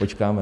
Počkáme.